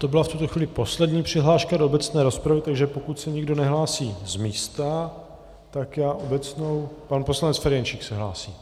To byla v tuto chvíli poslední přihláška do obecné rozpravy, takže pokud se nikdo nehlásí z místa, tak já obecnou - pan poslanec Ferjenčík se hlásí.